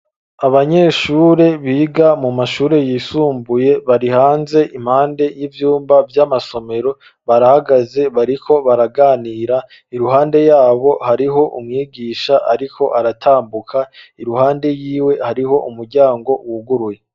Abanyeshure biga mu mashure yisumbuye barihanze impande y'ivyumba vy'amasomero barahagaze bariko baraganira iruhande yabo hariho umwigisha ariko aratambuka, iruhande yiwe hariho umuryango wuguruye.